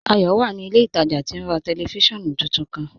Ayọ wà ní ilẹ̀ ìtajà tí ó n rà tẹlifísiọ̀nù tuntun kan.